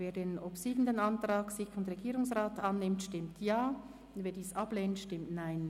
Wer den obsiegenden Antrag SiK und Regierungsrat annimmt, stimmt Ja, wer diesen ablehnt, stimmt Nein.